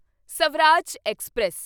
Swaraj express